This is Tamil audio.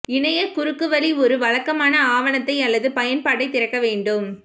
இணைய குறுக்குவழி ஒரு வழக்கமான ஆவணத்தை அல்லது பயன்பாட்டை திறக்க வேண்டும்